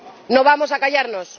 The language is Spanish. no vamos a callarnos.